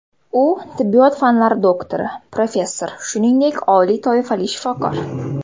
U tibbiyot fanlari doktori, professor, shuningdek, oliy toifali shifokor.